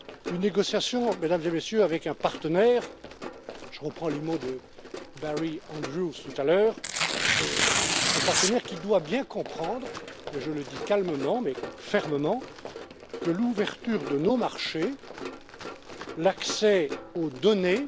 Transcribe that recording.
Une négociation, Mesdames et Messieurs, avec un partenaire je reprends les mots de Barry Andrews tout à l'heure un partenaire qui doit bien comprendre et je le dis calmement mais fermement que l'ouverture de nos marchés, l'accès aux données